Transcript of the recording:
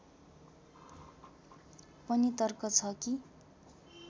पनि तर्क छ कि